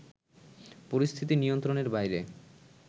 পরিস্থিতি নিয়ন্ত্রণের বাইরে